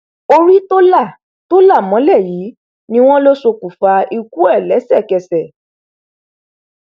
orí tó là tó là mọlẹ yìí ni wọn lọ ṣokùnfà ikú ẹ lẹsẹkẹsẹ